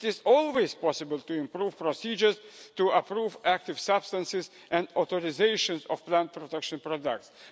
It is always possible to improve procedures to approve active substances and authorisations of plant protection products.